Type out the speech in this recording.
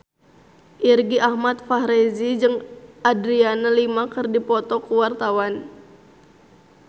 Irgi Ahmad Fahrezi jeung Adriana Lima keur dipoto ku wartawan